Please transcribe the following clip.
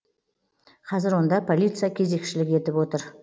қазір онда полиция кезекшілік етіп отыр